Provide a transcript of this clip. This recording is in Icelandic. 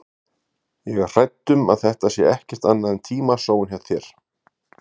Ég er hrædd um að þetta sé ekkert annað en tímasóun hjá þér.